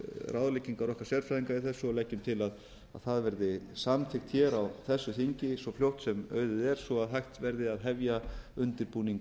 ráðleggingar okkar sérfræðinga í þessu og leggjum til að það verði samþykkt á þessu þingi svo fljótt sem auðið er svo hægt verði að hefja undirbúning